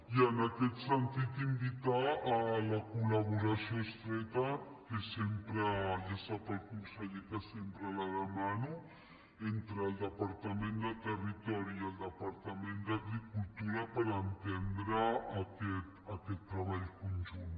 i en aquest sentit invitar a la col·laboració estreta ja sap el conseller que sempre la demano entre el departament de territori i el departament d’agricultura per entendre aquest treball conjunt